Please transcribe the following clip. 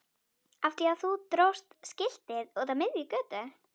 Af því að þú dróst skiltið út á miðja götu!